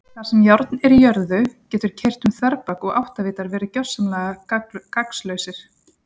Þar sem járn er í jörðu getur keyrt um þverbak og áttavitar verið gersamlega gagnslausir.